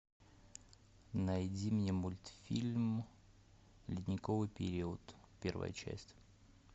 найди мне мультфильм ледниковый период первая часть